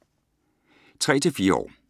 3-4 år